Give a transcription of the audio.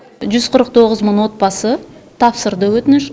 жүз қырық тоғыз мың отбасы тапсырды өтініш